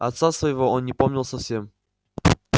отца своего он не помнил совсем